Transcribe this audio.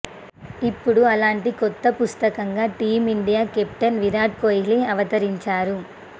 ఇప్పుడు అలాంటి కొత్త పుస్తకంగా టీమిండియా కెప్టెన్ విరాట్ కోహ్లీ అవతరించారు